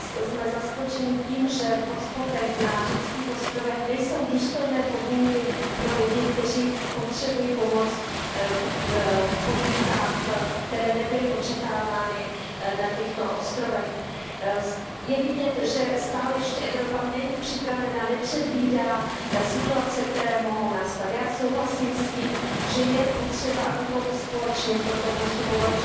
Dnes jsme zaskočeni tím, že v hotspotech na řeckých ostrovech nejsou důstojné podmínky pro lidi, kteří potřebují pomoc v podmínkách, které nebyly očekávány na těchto ostrovech. Je vidět, že Evropa stále ještě není připravena, nepředvídá situace, které mohou nastat. Já souhlasím s tím, že je potřeba, abychom společně v tomto postupovali.